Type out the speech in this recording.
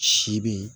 Si bi